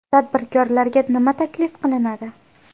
Tadbirkorlarga nima taklif qilinadi?